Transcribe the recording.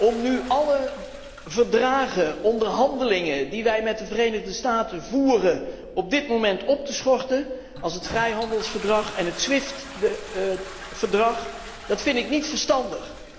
Om nu alle verdragen en onderhandelingen die wij met de Verenigde Staten voeren, op dit moment op te schorten, zoals het vrijhandelsverdrag en het SWIFT verdrag, lijkt me niet verstandig.